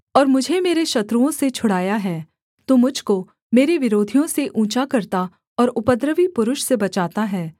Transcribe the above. और मुझे मेरे शत्रुओं से छुड़ाया है तू मुझ को मेरे विरोधियों से ऊँचा करता और उपद्रवी पुरुष से बचाता है